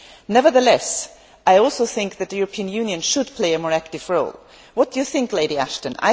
Nevertheless, I also think that the European Union should play a more active role. What do you think, Lady Ashton?